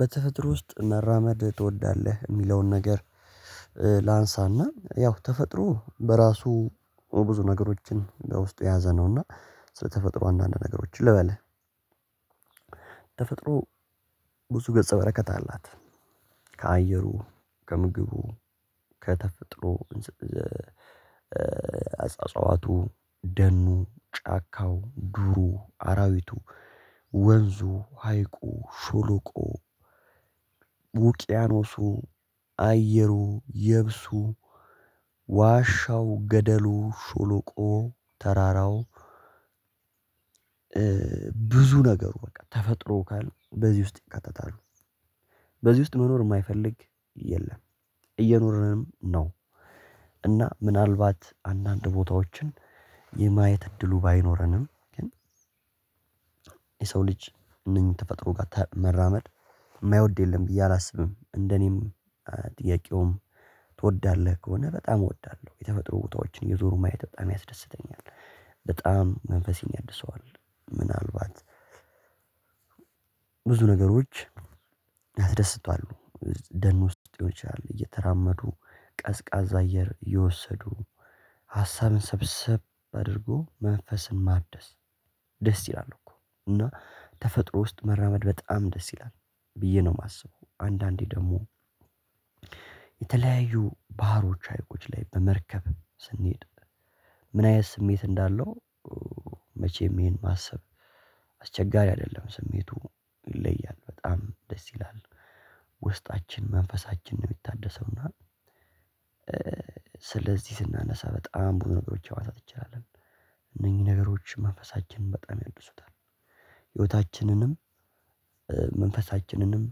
በተፈጥሮ ውስጥ መራመድ ትወዳለህ የሚለውን ነገር ላንሳና ያው ተፈጥሮ በራሱ ብዙ ነገሮችን በውስጡ የያዘነውና ስለተፈጥሮ አንዳንድ ነገሮችን ልበልህ። ተፈጥሮ ብዙ ገፀ በረከት አላት። ከአየሩ ከምግቡ ከተፈጥሮ አጽዋቱ ደኑ ጫካው ዱሩ አራዊቱ ወንዙ ሀይቁ ሸሎቆው ውቅያኖሱ አየሩ የብሱ ዋሻው ገደሉ ሸሎቆው ተራራው። ብዙ ነገሩ በቃ ተፈጥሮ ካልን በዚህ ውስጥ ይካተታሉ። በዚህ ውስጥ መኖር የማይፈልግ የለም እየኖርንም ነው። እና ምናልባት አንዳንድ ቦታዎችን የማየት እድሉ ባይኖረንም ግን የሰው ልጅ እነኚህን ተፈጥሮ ጋር ተ መራመድ የማይወድ የለም ብዬ አላስብም። እንደኔም ጥያቄውም ትወዳለህ ከሆነ በጣም እወዳለሁ። የተፈጥሮ ቦታዎችን እየዞሩ ማየት በጣም ያስደስተኛል። በጣም መንፈሴን ያድሰዋል። ምናልባት ብዙ ነገሮች ያስደስታሉ ደን ውስጥ ሊሆን ይችላል እየተራመዱ ቀዝቃዛ አየር እየወስዱ ሀሳብን ሰብሰብ አድርጎ መንፈስን ማደስ ደስ ይላል። እኮ እና ተፈጥሮ ውስጥ መራመድ በጣም ደስ ይላል ብየ ነው የማስበው። አንዳንዴ ደግሞ የተለያዩ ባህሮች ሀይቆች ላይ በመርከብ ስንሄድ ምን አይነት ስሜት እንዳለው? መቼም ይሄን ማሰብ አስቸጋሪ አይደለም ስሜቱ ይለያል በጣም ደስ ይላል። ውስጣችን መንፈሳችን ነው የሚታደሰውና። ስለዚህ ስናነሳ በጣም ብዙ ነገሮችን ማንሳት እንችላለን። እነኝህ ነገሮች መንፈሳችንን በጣም ያድሱታል። ህይወታችንንም መንፈሳችንንም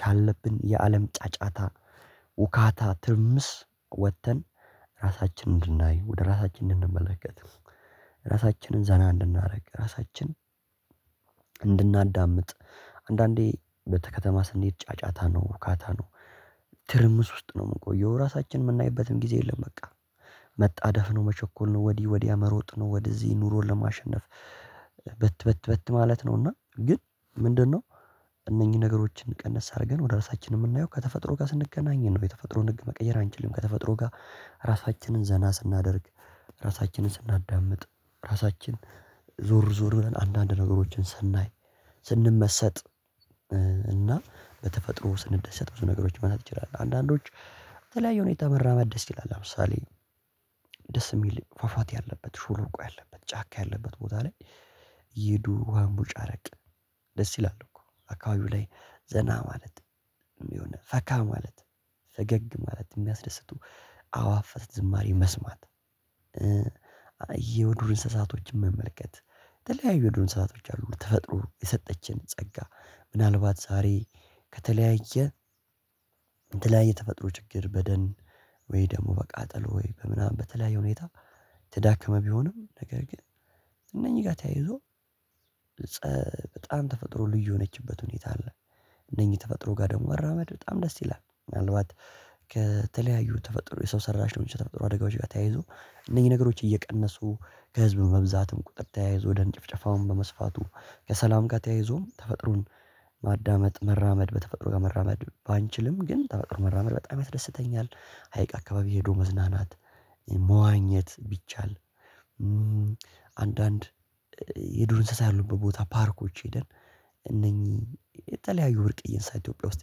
ካለብን የአለም ጫጫታ ሁካታ ትርምስ ወጥተን ራሳችንን እንድናይ ወደ ራሳችን እንድንመለከት ራሳችንን ዘና እንድናደርግ ራሳችን እንድናዳምጥ። አንዳንዴ በተ ከተማ ስንሄድ ጫጫታ ነው ሁካታ ነው። ትርምስ ውስጥ ነው የምቆየው ራሳችንን የምናይበትም ጊዜ የለም። በቃ መጣደፍ ነው መቸኮል ነው ወዲህ ወዲያ መሮጥ ነው። ወደዚህ ኑሮን ለማሸነፍ በት በት በት ማለት ነው። እና ግን ምንድነው? እነኚህን ነገሮችን ቀንስ አድርገን ወደ ራሳችን የምናየው ከተፈጥሮ ጋር ስንገናኝ ነው የተፈጥሮን ህግ መቀየር አንችልም። ከተፈጥሮ ጋር ራሳችንን ዘና ስናደርግ ራሳችንን ስናዳምጥ ራሳችን ዞር ዞር ብለን አንዳንድ ነገሮችን ስናይ ስንመሰጥ። እና በተፈጥሮ ስንደሰት ብዙ ነገሮችን ማንሳት ይችላል አንዳንዶች በተለያዩ ሁኔታ መራመድ ደስ ይላል። አሁን ለምሳሌ ደስ የሚል ፏፏቴ ያለበት ሸሎቆ ያለበት ጫካ ያለበት ቦታ ላይ እየሄዱ መቦጫረቅ ደስ ይላል። እኮ አካባቢው ላይ ዘና ማለት የሆነ ፈካ ማለት ፈገግ ማለት የሚያስደስቱ አዋፋት ዝማሬ መስማት። የዱር እንስሳቶችን መመልከት የተለያዩ የዱር እንስሳቶች አሉ ተፈጥሮ የሰጠችን ጸጋ። ምናልባት ዛሬ ከተለያየ የተለያየ የተፈጥሮ ችግር በደን ወይ ደግሞ በቃጠሎ ወይ በምናምን በተለያዩ ሁኔታ የተዳከመ ቢሆንም ነገር ግን እነኝህ ጋር ተያይዞ ፀ በጣም ተፈጥሮ ልዩ የሆነችበት ሁኔታ አለ። እነኚህ ተፈጥሮ ጋር ደግሞ መራመድ በጣም ደስ ይላል። ምናልባት ከተለያዩ ተፈጥሮ የሰው ሰራሽ ሊሆን ይችላል ተፈጥሮ አደጋዎች ጋር ተያይዞ እነኝህ ነገሮች እየቀነሱ ከህዝብ መብዛትም ቁጥር ተያይዞ ደን ጭፍጨፋ በመስፋቱ ከሰላም ጋር ተያይዞ ተፈጥሮም ማዳመጥ መራመድ በተፈጥሮ ጋር መራመድ ባንችልም ግን ተፈጥሮ መራመድ በጣም ያስደስተኛል። ሀይቅ አካባቢ ሄዶ መዝናናት መዋኘት ቢቻል አንዳንድ የዱር እንስሳ ያሉበት ቦታ ፓርኮች ሄደን እነኚህ የተለያዩ ብርቅዬ እንስሳት ኢትዮጵያ ውስጥ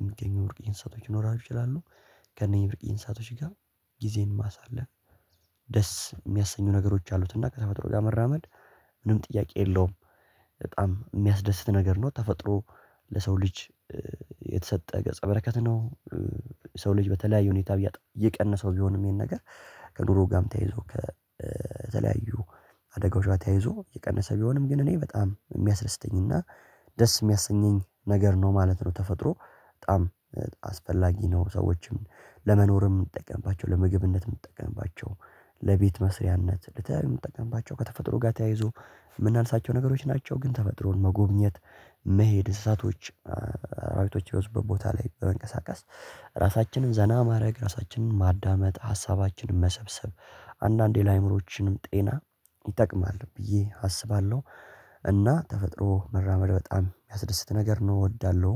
የሚገኙ ብርቅየ እንስሳቶች ይኖራሉ ይችላሉ። ከእነኚህ ብርቅዬ እንስሳቶች ጋር ጊዜን ማሳለፍ ደስ የሚያሰኙ ነገሮች አሉት። እና ከተፈጥሮ ጋር መራመድ ምንም ጥያቄ የለውም። በጣም የሚያስደስት ነገር ነው ተፈጥሮ ለሰው ልጅ የተሰጠ ገጸ በረከት ነው። የሰው ልጅ በተለያዩ ሁኔታ እያጣ እየቀነሰው ቢሆንም ይሄን ነገር ከድሮ ጋም ተያይዞ ከ ተለያዩ አደጋዎች ጋር ተያይዞ የቀነሰ ቢሆንም ግን እኔ በጣም የሚያስደስተኝና ደስ የሚያሰኘኝ ነገር ነው ማለት ነው። ተፈጥሮ በጣም አስፈላጊ ነው። ሰዎችም ለመኖርም የምንጠቀምባቸው ለምግብነትም የምንጠቀምባቸው ለቤት መስሪያነት ልተለያዩ የምንጠቀምባቸው ከተፈጥሮ ጋር ተያይዞ እምናንሳቸው ነገሮች ናቸው። ግን ተፈጥሮን መጎብኘት መሄድ እንስሳቶች አራዊቶች የበዙበት ቦታ ላይ በመንቀሳቀስ ራሳችንን ዘና ማድረግ ራሳችንን ማዳመጥ ሀሳባችንን መሰብሰብ አንዳንዴ ለአእምሯችንም ጤና ይጠቅማል ብዬ አስባለሁ። እና ተፈጥሮ መራመድ በጣም የሚያስደስት ነገር ነው እወዳለሁም